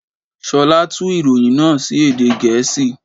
Ṣolá tú ìròyìn náà sí èdè Gèésì.